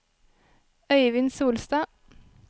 Øivind Solstad